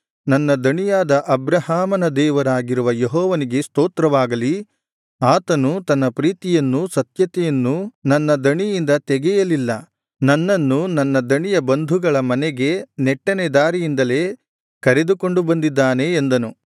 ನನ್ನ ದಣಿಯಾದ ಅಬ್ರಹಾಮನ ದೇವರಾಗಿರುವ ಯೆಹೋವನಿಗೆ ಸ್ತೋತ್ರವಾಗಲಿ ಆತನು ತನ್ನ ಪ್ರೀತಿಯನ್ನೂ ಸತ್ಯತೆಯನ್ನೂ ನನ್ನ ದಣಿಯಿಂದ ತೆಗೆಯಲಿಲ್ಲ ನನ್ನನ್ನು ನನ್ನ ದಣಿಯ ಬಂಧುಗಳ ಮನೆಗೆ ನೆಟ್ಟನೆ ದಾರಿಯಿಂದಲೇ ಕರೆದುಕೊಂಡು ಬಂದಿದ್ದಾನೆ ಎಂದನು